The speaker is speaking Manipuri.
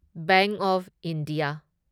bank of India